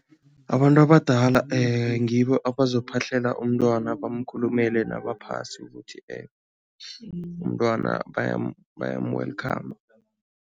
Abantu abadala ngibo abazophahlela umntwana, bamkhulumele nabaphasi ukuthi umntwana bayamu-welcome.